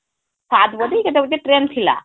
ସାତ ବଜେ କେତେ ଗୋଟେtrain ଥିଲା